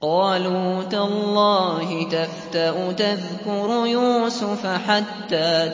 قَالُوا تَاللَّهِ تَفْتَأُ تَذْكُرُ يُوسُفَ حَتَّىٰ